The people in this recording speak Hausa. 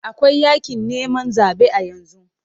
Akwai yakin neman zabe a yanzu.